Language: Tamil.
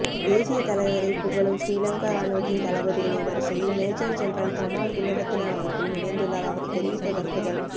தேசியத்தலைவரை புகழும் ஶ்ரீலங்கா இராணுவத்தின் தளபதிகளின் வரிசையில் மேஜர் ஜெனரல் கமால் குணரத்ன அவர்களும் இணைந்துள்ளார் அவர் தெரிவித்த கருத்துக்கள்